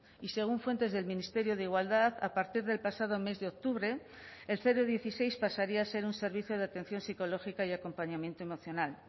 y según fuentes del ministerio de igualdad a partir del pasado mes de octubre el dieciséis pasaría a ser un servicio de atención psicológica y acompañamiento emocional